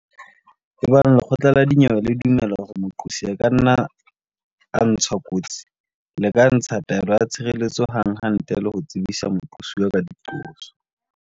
Ebang lekgotla la dinyewe le dumela hore moqosi a ka nna a ntshwa kotsi le ka ntsha taelo ya tshireletso hanghang ntle le ho tsebisa moqosuwa ka diqoso.